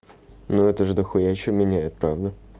ну это же дохуя что меняет правда